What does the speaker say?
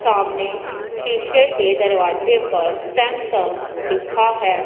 सामने शीशे के दरवाजे पर सैमसंग लिखा है।